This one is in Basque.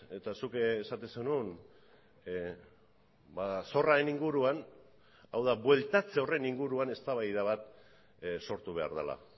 eta zuk esaten zenuen zorraren inguruan hau da bueltatze horren inguruan eztabaida bat sortu behar dela